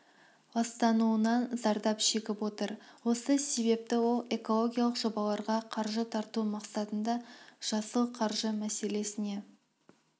ластануынан зардап шегіп отыр осы себепті ол экологиялық жобаларға қаржы тарту мақсатында жасыл қаржы мәселесіне